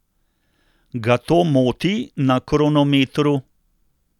Ga to moti na kronometru?